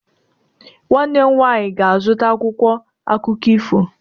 Nwanne m nwanyị ga-azụta akwụkwọ akụkọ ifo.